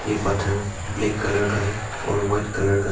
ये पत्थर black colour का है और वाइट कलर का है।